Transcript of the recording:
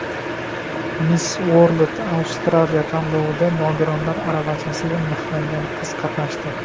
Miss World Australia tanlovida nogironlar aravachasiga mixlangan qiz qatnashdi.